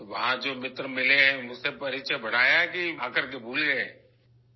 تو وہاں ، جو دوست ملے ہیں ، اُن سے تعارف بڑھایا یا آکر کے بھول گئے ؟